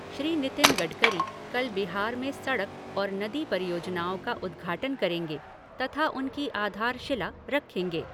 श्री नितिन गडकरी कल बिहार में सड़क और नदी परियोजनाओं का उदृघाटन करेंगे तथा उनकी आधारशिला रखेंगे।